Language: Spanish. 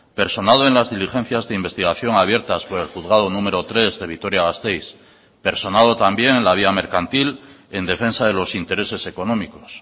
personado en las diligencias de investigación abiertas por el juzgado número tres de vitoria gasteiz personado también la vía mercantil en defensa de los intereses económicos